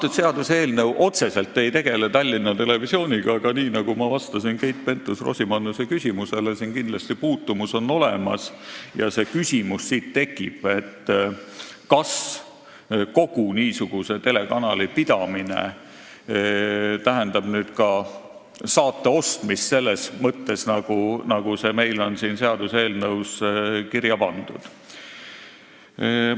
See seaduseelnõu ei tegele otseselt Tallinna Televisiooniga, aga nii nagu ma ütlesin Keit Pentus-Rosimannusele, on siin kindlasti puutumus olemas ja siit tekib küsimus, kas niisuguse telekanali pidamine tähendab nüüd ka saadete ostmist selles mõttes, nagu see on meil seaduseelnõusse kirja pandud.